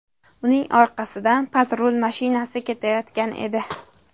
Uning orqasidan patrul mashinasi kelayotgan edi.